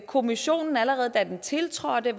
kommissionen allerede da den tiltrådte